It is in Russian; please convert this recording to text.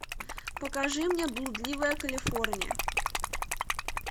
покажи мне блудливая калифорния